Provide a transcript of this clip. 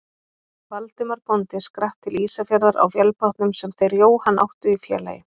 Valdimar bóndi skrapp til Ísafjarðar á vélbátnum sem þeir Jóhann áttu í félagi.